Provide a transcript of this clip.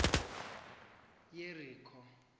yerikho